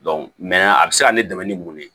a bɛ se ka ne dɛmɛ ni mun ye